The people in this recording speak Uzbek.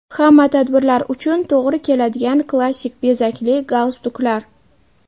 Hamma tadbirlar uchun to‘g‘ri keladigan klassik bezakli galstuklar.